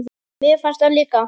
Mér fannst það líka.